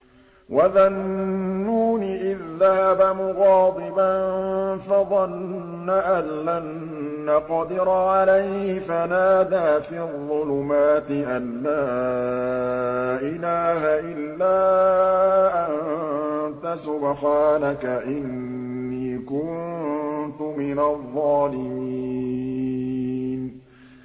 وَذَا النُّونِ إِذ ذَّهَبَ مُغَاضِبًا فَظَنَّ أَن لَّن نَّقْدِرَ عَلَيْهِ فَنَادَىٰ فِي الظُّلُمَاتِ أَن لَّا إِلَٰهَ إِلَّا أَنتَ سُبْحَانَكَ إِنِّي كُنتُ مِنَ الظَّالِمِينَ